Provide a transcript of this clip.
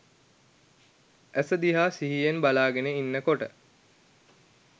ඇස දිහා සිහියෙන් බලාගෙන ඉන්න කොට